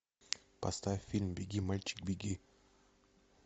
поставь фильм беги мальчик беги